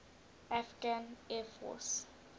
afghan air force